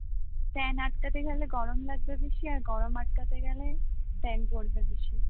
fan আটকাতে গেলে গরম লাগবে বেশি আর গরম আটকাতে গেলে fan চলবে বেশি